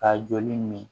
Ka joli min min